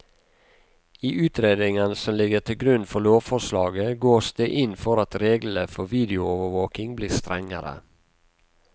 I utredningen som ligger til grunn for lovforslaget, gås det inn for at reglene for videoovervåking blir strengere.